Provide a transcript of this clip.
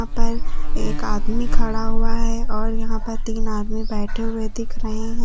पर एक आदमी खड़ा हुआ है और यहां पर तीन आदमी बैठे हुए दिख रहे हैं।